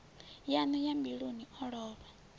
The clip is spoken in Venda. yaṋu ya mbiluni o lovha